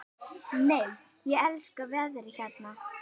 Nei, ég elska veðrið hérna!